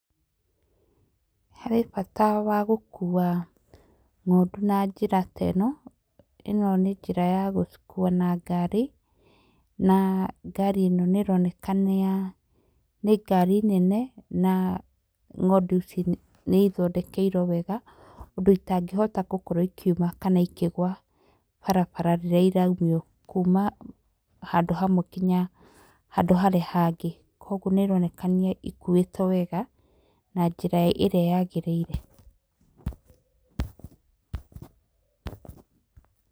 Harĩ bata wa gũkua ng'ondu na njĩra ta ĩno. ĩno nĩ njĩra ya gũcikua na ngari na ngari ĩno nĩ ĩroneka nĩ ngari nene na ng'ondu ici nĩ ithondekeirwo wega ũndũ citangĩhota gũkorwo ikiuma kana ikĩgũa barabara rĩrĩa iraumio kuma handũ hamwe nginya handũ harĩa hangĩ. Koguo nĩ ironekania ikuĩtũo wega na njĩra ĩrĩa yagĩrĩire.